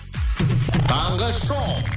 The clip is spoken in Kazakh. таңғы шоу